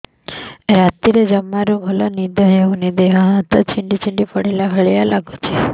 ରାତିରେ ଜମାରୁ ଭଲ ନିଦ ହଉନି ଦେହ ହାତ ଛିଡି ପଡିଲା ଭଳିଆ ଲାଗୁଚି